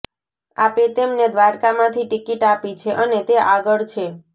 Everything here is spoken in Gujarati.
આપે તેમને દ્વારકામાંથી ટિકિટ આપી છે અને તે આગળ છે